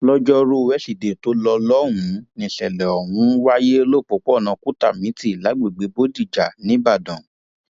lọjọrùú wísidee tó lò lọhùnún níṣẹlẹ ọhún wáyé lọpọọpọnà kùtàmítì lágbègbè bòdíjà nìbàdàn